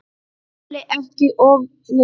SKÚLI: Ekki of viss!